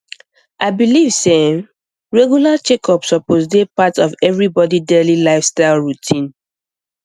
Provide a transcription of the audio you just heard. i believe say um regular checkups suppose dey part of everybody daily lifestyle routine um